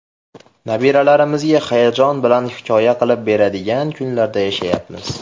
Nabiralarimizga hayajon bilan hikoya qilib beriladigan kunlarda yashayapmiz.